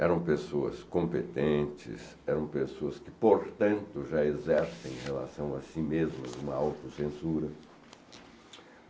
eram pessoas competentes, eram pessoas que, portanto, já exercem em relação a si mesmas uma autocensura.